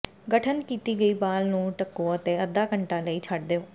ਗਠਨ ਕੀਤੀ ਗਈ ਬਾਲ ਨੂੰ ਢੱਕੋ ਅਤੇ ਅੱਧਾ ਘੰਟਾ ਲਈ ਛੱਡ ਦਿਓ